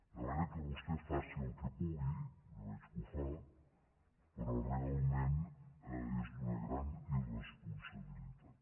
de manera que vostè faci el que pugui ja veig que ho fa però realment és d’una gran irresponsabilitat